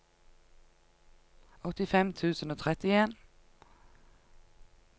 åttifem tusen og trettien